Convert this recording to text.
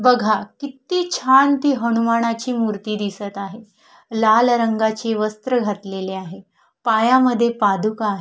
बघा किती छान ती हनुमानाची मुर्ती दिसत आहे लाल रंगाची वस्त्र घातलेलं आहे पायामध्ये पादुका आहे.